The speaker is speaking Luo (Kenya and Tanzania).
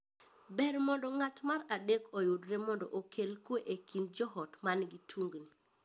Ber mondo ng’at mar adek oyudre mondo okel kwe e kind joot man gi tungni.